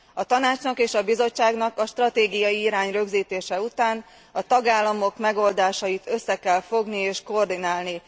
A Tanácsnak és a Bizottságnak a stratégiai irány rögzítése után a tagállamok megoldásait össze kell fogni és koordinálni.